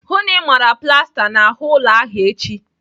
Hụụ na Ị mara plasta n'ahụ ụlọ ahụ echi!